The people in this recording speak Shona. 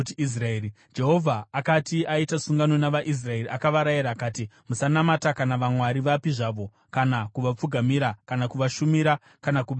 Jehovha akati aita sungano navaIsraeri, akavarayira akati, “Musanamata kana vamwari vapi zvavo kana kuvapfugamira, kana kuvashumira kana kubayira kwavari.